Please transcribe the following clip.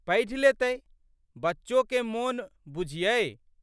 पढ़ि लेतै। बच्चोके मोन बुझियै।